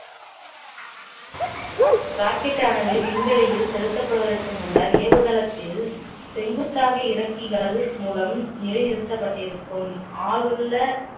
rocket ஆனது விண்வெளியில் செலுத்தப்படுவதற்கு முன்னர் ஏவுதளத்தில் செங்குத்தாக இறக்கிகள் மூலம் நிலைநிறுத்தப்பட்டிருக்கும் ஆளுள்ள